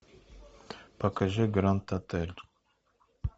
покажи гранд отель